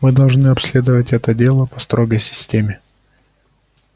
мы должны обследовать это дело по строгой системе